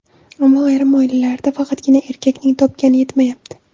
Ammo ayrim oilalarda faqatgina erkakning topgani yetmayapti.